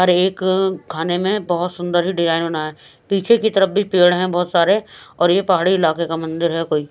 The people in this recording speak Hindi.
हर एक खाने में बहुत सुंदर ही डिजाइन होना है पीछे की तरफ भी पेड़ हैंबहुत सारे और यह पहाड़ी इलाके का मंदिर हैकोई--